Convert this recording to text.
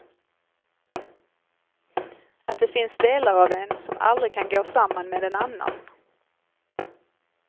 Att det finns delar av en som aldrig kan gå samman med en annan.